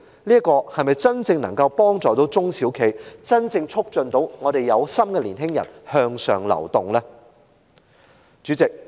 這些政策能否真正幫助中小企、真正促進有心的年青人向上流動？